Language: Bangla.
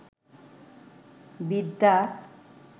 বিদ্যা